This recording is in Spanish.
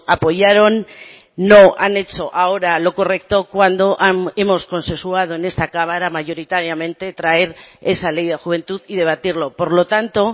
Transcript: apoyaron no han hecho ahora lo correcto cuando hemos consensuado en esta cámara mayoritariamente traer esa ley de juventud y debatirlo por lo tanto